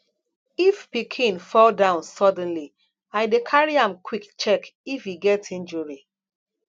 if pikin fall down suddenly i dey carry am quick check if e get injury